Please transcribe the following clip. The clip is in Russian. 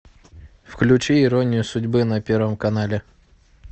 включи иронию судьбы на первом канале